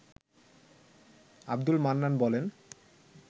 আব্দুল মান্নান বলেন